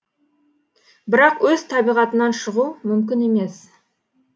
бірақ өз табиғатынан шығу мүмкін емес